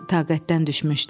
taqətdən düşmüşdü.